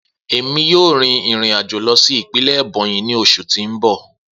Emi yoo rin irin ajo lọ si ipinlẹ Ebonyi ni oṣu ti n bọ.